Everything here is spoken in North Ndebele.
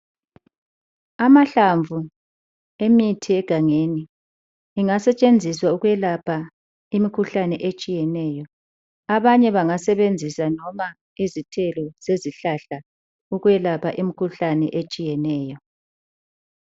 Amahlamvu emithi yegangeni engasetshenziswa ukwelapha imkhuhlane etshiyeneyo, abanye bangasebenzisa loba izithelo zezihlahla ukwelapha imkhuhlane etshiyeneyo.